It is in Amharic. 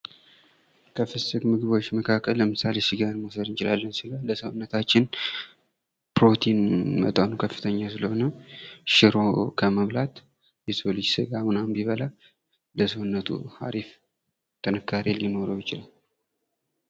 ከፍስክ ምግቦች መካከል ለምሳሌ ስጋን መውሰድ እንችላለን። ስጋ ለሰውነታችን ፕሮቲን መጠኑ ከፍተኛ ስለሆነ ሽሮ ከመብላት የሰው ልጅ ስጋ ምናምን ቢበላ ለሰውነቱ አሪፍ ጥንካሬ ሊኖረው ይችላል።